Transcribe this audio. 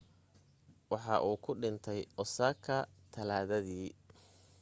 waxa uu ku dhintay osaka talaadadii